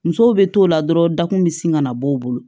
Musow bɛ t'o la dɔrɔn dakun bɛ sin ka na bɔ u bolo